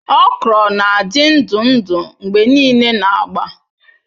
Okra na-adị ndụ ndụ mgbe niile na agba.